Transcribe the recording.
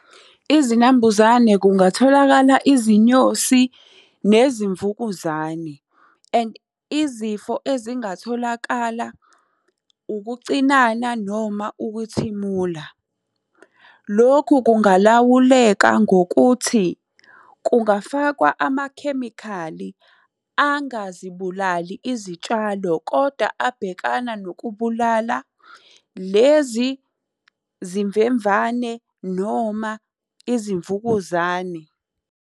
Izinambuzane kungatholakala izinyosi, nezimvukuzane and izifo ezingatholakala ukucinana noma ukuthimula. Lokhu kungalawuleka ngokuthi, kungafakwa amakhemikhali angazibulali izitshalo kodwa abhekana nokubulala lezi zimvemvane noma izimvukuzane.